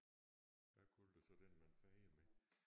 Hvad kalder du så den man fejer med?